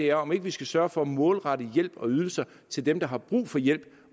er om ikke vi skal sørge for at målrette hjælp og ydelser til dem der har brug for hjælp